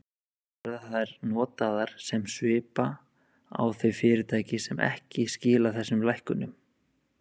Verða þær notaðar sem svipa á þau fyrirtæki sem ekki skila þessum lækkunum?